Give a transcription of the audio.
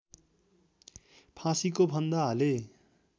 फाँसीको फन्दा हाले